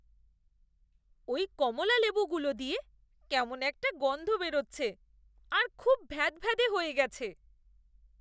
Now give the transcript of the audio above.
ওই কমলালেবুগুলো দিয়ে কেমন একটা গন্ধ বেরোচ্ছে আর খুব ভ্যাদভ্যাদে হয়ে গেছে।